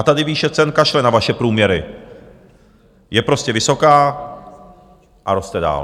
A tady výše cen kašle na vaše průměry, je prostě vysoká a roste dál.